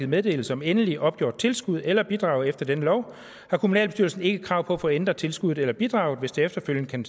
meddelelse om endeligt opgjort tilskud eller bidrag efter denne lov har kommunalbestyrelsen ikke krav på at få ændret tilskuddet eller bidraget hvis der efterfølgende kan